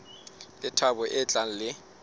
le thabo e tlang le